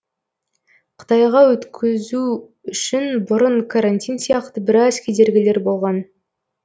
қытайға өткізу үшін бұрын карантин сияқты біраз кедергілер болған